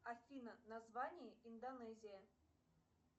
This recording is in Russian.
афина название индонезия